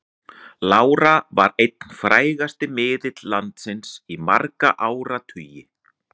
Lára var einn frægasti miðill landsins í marga áratugi.